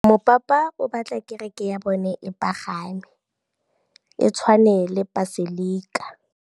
Mopapa o batla kereke ya bone e pagame, e tshwane le paselika.